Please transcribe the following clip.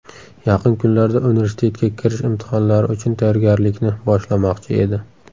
Yaqin kunlarda universitetga kirish imtihonlari uchun tayyorgarlikni boshlamoqchi edi.